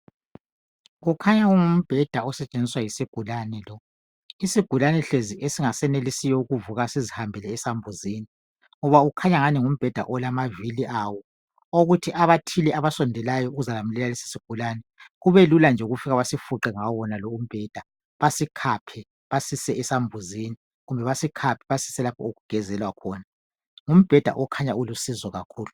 kukhanya kungumbheda osetshenziswa yisigulane lo isigulane hlezi esingasayenelisiyo ukuvuka sizihambele esambuzini ngoba kukhanya engani ngumbheda olamavili awo okokuthi abathile abasondelayo ukuzayamukela lesi sigulane kube lula ukufika basifuqe ngawo waonalo umbheda basikhaphe basise esambuzini kumbe basikhaphe basise lapho okugezelwa khona ngumbheda okhanya ulusizo kakhulu